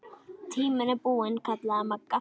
Tíminn er búinn kallaði Magga.